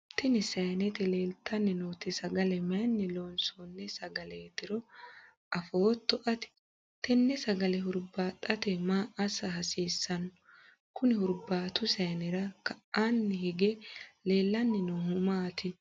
tini sayiinete leeltanni nooti sagale mayiinni loonsoonni sagaleetiro afootto ati? tenne sagale hurbaaxate maa assa hasiissanno? kuni hurbaatu sayiinera ka'aanni hige leellanni noohu maati?